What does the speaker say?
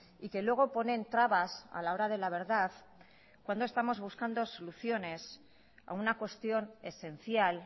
y que luego ponen trabas a la hora de la verdad cuando estamos buscando soluciones a una cuestión esencial